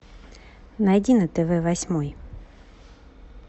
найди на тв восьмой